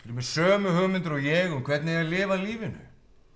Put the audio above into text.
með sömu hugmyndir og ég um hvernig eigi að lifa lífinu